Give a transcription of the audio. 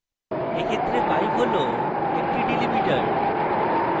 in ক্ষেত্রে pipe হল একটি delimiter